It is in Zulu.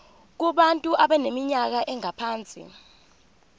kubantu abaneminyaka engaphansi